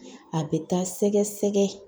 A bɛ taa sɛgɛ sɛgɛ.